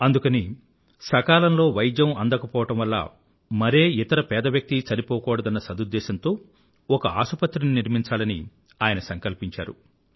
అందుకని సకాలంలో వైద్యం అందకపోవడం వల్ల మరే ఇతర పేదవ్యక్తీ చనిపోకూడదన్న సదుద్దేశంతో ఒక ఆసుపత్రిని నిర్మించాలని ఆయన సంకల్పించాడు